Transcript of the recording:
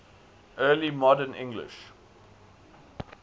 early modern english